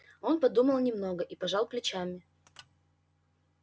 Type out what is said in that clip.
он подумал немного и пожал плечами